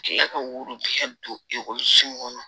K'e ka woro tigɛ don ekɔliso kɔnɔ